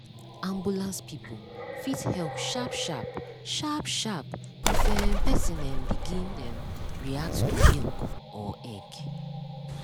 ambulance people fit help sharp sharp sharp sharp if um person um begin um react to milk or egg.